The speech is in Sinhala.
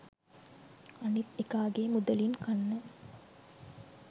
අනිත් එකාගෙ මුදලින් කන්න